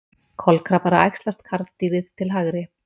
Kolkrabbar að æxlast, karldýrið til hægri.